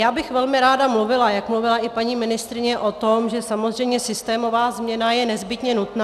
Já bych velmi ráda mluvila, jak mluvila i paní ministryně, o tom, že samozřejmě systémová změna je nezbytně nutná.